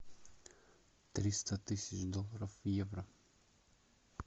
триста тысяч долларов в евро